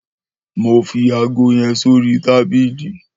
Mó fi àgó yèn sórí tàbìlí